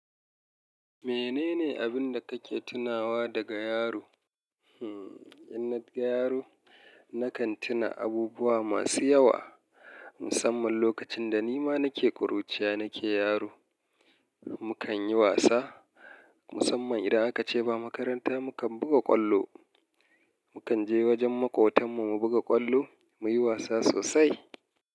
Menene abin da kake tunawa daga yaro? Hmm, idan na ga yaro na kan tuna abubuwa masu yawa musamman lokacin da nima nake kuruciya nake yaro. Mukan yi wasa musamman idan aka ce ba makaranta mu kan buga ƙwallo. Mukan je wajen maƙotan mu mu buga ƙwallo muyi wasa sosai.